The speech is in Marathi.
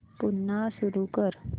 पुन्हा सुरू कर